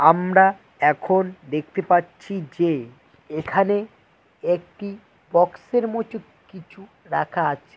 আমরা এখন দেখতে পাচ্ছি যে এখানে একটি বক্সের মোচত কিছু রাখা আছে।